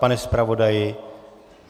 Pane zpravodaji?